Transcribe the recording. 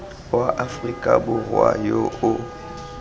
wa aforika borwa yo o